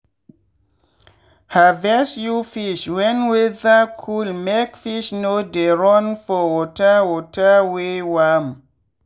harvest you fish when weather coolmake fish no dey run for water water wey warm.